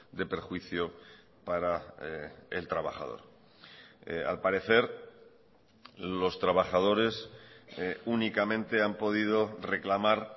de perjuicio para el trabajador al parecer los trabajadores únicamente han podido reclamar